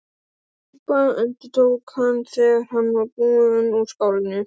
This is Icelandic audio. Góð súpa endurtók hann, þegar hann var búinn úr skálinni.